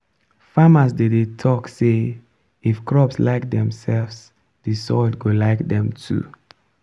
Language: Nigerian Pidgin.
farmers dey dey talk say “if crops like themselves the soil go like them too.”